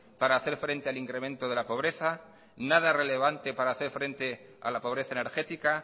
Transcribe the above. para hacer frente al incremento de la pobreza nada relevante para hacer frente a la pobreza energética